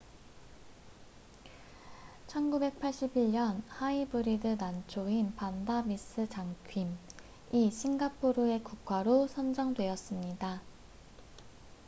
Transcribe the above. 1981년 하이브리드 난초인 반다 미스 자큄vanda miss joaquim이 싱가포르의 국화로 선정되었습니다